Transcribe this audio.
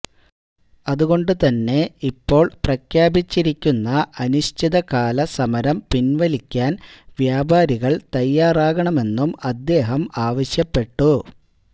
അതുകൊണ്ട് തന്നെ ഇപ്പോള് പ്രഖ്യാപിച്ചിരിക്കുന്ന അനിശ്ചിതകാല സമരം പിന്വലിക്കാന് വ്യാപാരികള് തയ്യാറാകണമെന്നും അദ്ദേഹം ആവശ്യപ്പെട്ടു